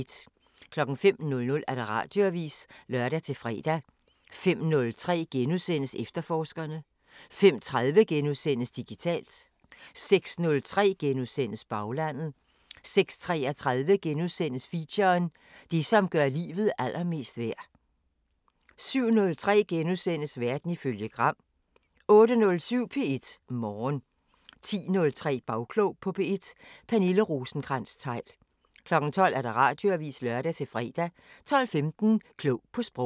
05:00: Radioavisen (lør-fre) 05:03: Efterforskerne * 05:30: Digitalt * 06:03: Baglandet * 06:33: Feature: Det som gør livet allermest værd * 07:03: Verden ifølge Gram * 08:07: P1 Morgen 10:03: Bagklog på P1: Pernille Rosenkrantz-Theil 12:00: Radioavisen (lør-fre) 12:15: Klog på Sprog